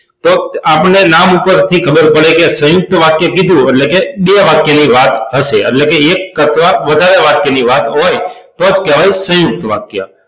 તો આપણને નામ પરથી ખબર પડે કે સયુંકત વાક્ય કીધું એટલે કે બે વાક્ય ની વાત હશે એટલે કે એક કરતા વધારે વાક્ય ની વાત હોય તો જ કહેવાય સયુંકત વાક્ય